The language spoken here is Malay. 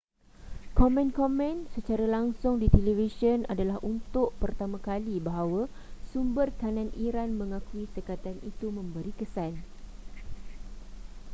komen-komen secara langsung di televisyen adalah untuk pertama kali bahawa sumber kanan iran mengakui sekatan itu memberi kesan